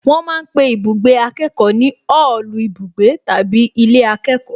Wọ́n ma ń pe ibùgbé akẹ́kọ̀ọ́ ní òòlù ibùgbé tàbí ilé akẹ́kọ̀ọ́